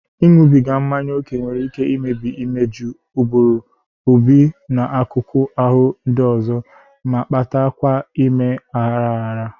Ịṅụbiga mmanya ókè nwere ike imebi imeju, ụbụrụ, obi, na akụkụ ahụ ndị ọzọ, ma-kpata kwa ime aghara aghara